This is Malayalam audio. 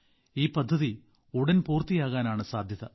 ഈ പദ്ധതി ഉടൻ പൂർത്തിയാകാനാണ് സാധ്യത